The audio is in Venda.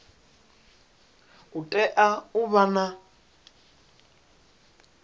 u tea u vha na